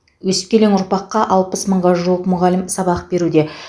өскелең ұрпақты алпыс мыңға жуық мұғалім сабақ беруде